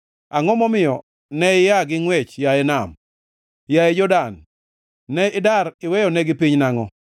Angʼo momiyo ne ia gi ngʼwech, yaye nam? Yaye Jordan, ne idar iweyonegi piny nangʼo?